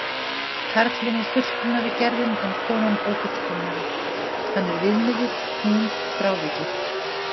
Karlinn er fullkomnari gerðin en konan ófullkomnari, hann er viðmiðið, hún frávikið.